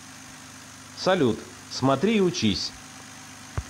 салют смотри и учись